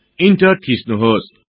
enter थिच्नुहोस्